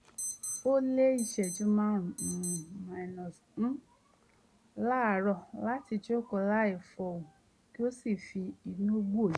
ó lo ìṣẹ́jú márùn-ún láràárọ̀ láti jókòó láì fọhùn kí ó sì fi inú wòye